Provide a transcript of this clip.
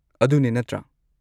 ꯑꯗꯨꯅꯦ, ꯅꯠꯇ꯭ꯔꯥ?